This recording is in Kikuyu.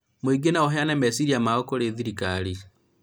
mũingĩ no ũheane meciria mao kũrĩ thirikari